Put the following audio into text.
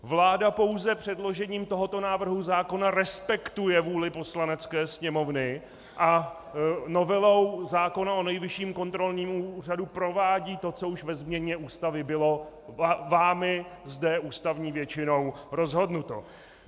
Vláda pouze předložením tohoto návrhu zákona respektuje vůli Poslanecké sněmovny a novelou zákona o Nejvyšším kontrolním úřadu provádí to, co už ve změně Ústavy bylo vámi zde ústavní většinou rozhodnuto.